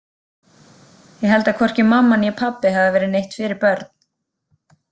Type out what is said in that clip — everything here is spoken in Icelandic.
Ég held að hvorki mamma né pabbi hafi verið neitt fyrir börn.